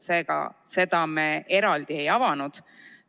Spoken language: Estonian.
Seda eelnõu me eraldi ei avanud.